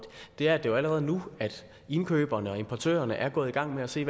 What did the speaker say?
er at det jo allerede er nu at indkøberne og importørerne er gået i gang med at se